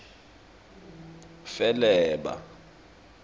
feleba